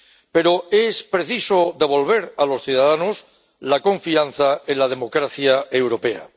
Pero es preciso devolver a los ciudadanos la confianza en la democracia europea.